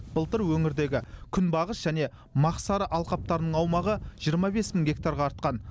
былтыр өңірдегі күнбағыс және мақсары алқаптарының аумағы жиырма бес мың гектарға артқан